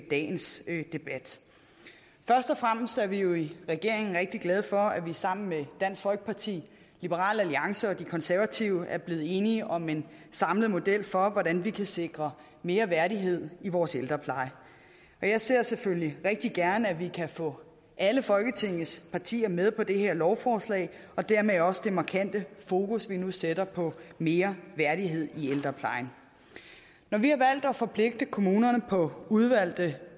dagens debat først og fremmest er vi jo i regeringen rigtig glade for at vi sammen med dansk folkeparti liberal alliance og de konservative er blevet enige om en samlet model for hvordan vi kan sikre mere værdighed i vores ældrepleje jeg ser selvfølgelig rigtig gerne at vi kan få alle folketingets partier med på det her lovforslag og dermed også det markante fokus vi nu sætter på mere værdighed i ældreplejen når vi har valgt at forpligte kommunerne på udvalgte